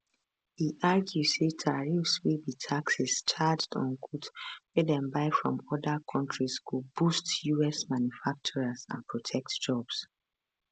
e argue say tariffs wey be taxes charged on goods wey dem buy from oda kontris go boost us manufacturers and protect jobs